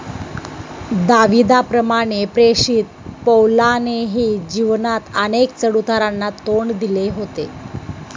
दाविदाप्रमाणे प्रेषित पौलानेही जीवनात अनेक चढउतारांना तोंड दिले होते.